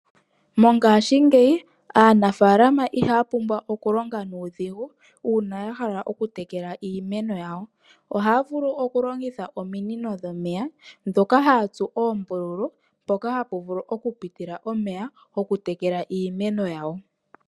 Mongaashingeyi aanafaalama iha ya pumbwa okulonga nuudhigu uuna ya hala oku tekela iimeno yawo. Oha ya vulu okulongitha ominino dhomeya dhoka ha ya tsu oombululu, mpoka ha pu vulu okupitila omeya, okutekela iimeno yawo.